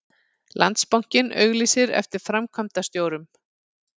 Landsbankinn auglýsir eftir framkvæmdastjórum